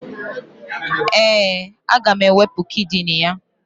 Ee, aga m ewepu kidini ya